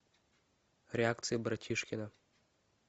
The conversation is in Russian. реакции братишкина